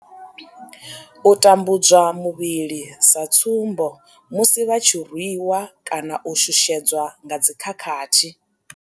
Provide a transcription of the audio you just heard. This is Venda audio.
U tambudzwa muvhili sa tsumbo, musi vha tshi rwi wa kana u shushedzwa nga dzi khakhathi.